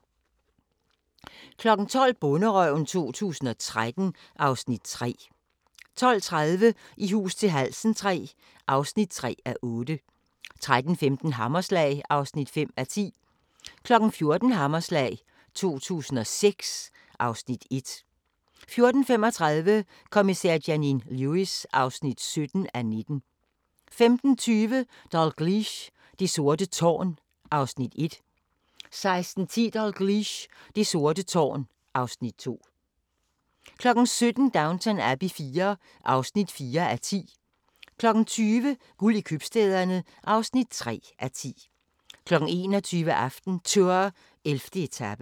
12:00: Bonderøven 2013 (Afs. 3) 12:30: I hus til halsen III (3:8) 13:15: Hammerslag (5:10) 14:00: Hammerslag 2006 (Afs. 1) 14:35: Kommissær Janine Lewis (17:19) 15:20: Dalgliesh: Det sorte tårn (Afs. 1) 16:10: Dalgliesh: Det sorte tårn (Afs. 2) 17:00: Downton Abbey IV (4:10) 20:00: Guld i købstæderne (3:10) 21:00: AftenTour: 11. etape